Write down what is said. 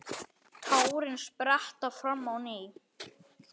Tárin spretta fram á ný.